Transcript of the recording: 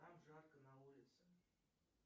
там жарко на улице